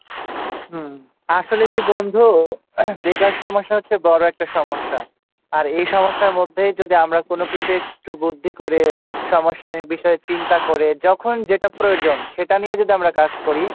হুম আসলে কি বন্ধু বেকার সমস্যা হচ্ছে বড় একটা সমস্যা আর এই সমস্যার মধ্যেই যদি আমরা কোনোকিছু বুদ্ধি করে সমস্যা নির্বিসয়ে চিন্তা করে যখন যেটা প্রয়োজন সেটা নিয়ে যদি আমরা কাজ করি,